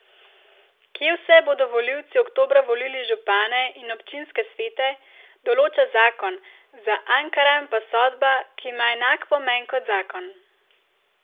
Kje vse bodo volivci oktobra volili župane in občinske svete, določa zakon, za Ankaran pa sodba, ki ima enak pomen kot zakon.